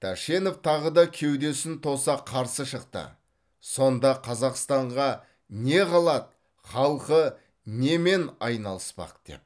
тәшенев тағы да кеудесін тоса қарсы шықты сонда қазақстанға не қалады халқы немен айналыспақ деп